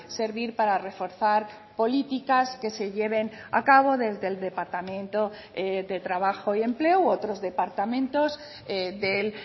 servir para reforzar políticas que se lleven a cabo desde el departamento de trabajo y empleo u otros departamentos del